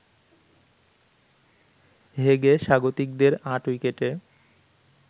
হেগে স্বাগতিকদের ৮ উইকেটে